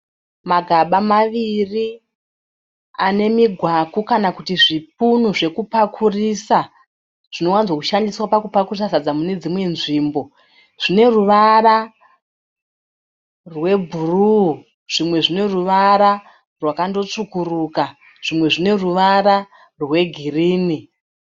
Magaba ane migwaku kana kuti zvipunu zvekupakurisa. Zvinowanzo shandiswa pakurisa sadza mune dzimwe nzvimbo. Zvine ruvara rwebhuru zvimwe zvine ruvara rwakando tsvukuruka zvimwe zvine ruvara rwegirini.